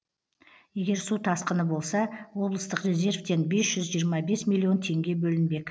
егер су тасқыны болса облыстық резервтен бес жүз жиырма бес миллион теңге бөлінбек